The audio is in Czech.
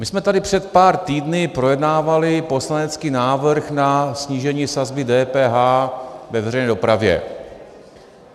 My jsme tady před pár týdny projednávali poslanecký návrh na snížení sazby DPH ve veřejné dopravě.